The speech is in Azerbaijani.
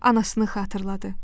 Anasını xatırladı.